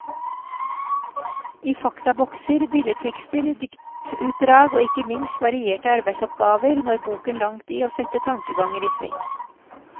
I faktabokser, billedtekster, diktutdrag og ikke minst varierte arbeidsoppgaver når boken langt i å sette tankeganger i sving.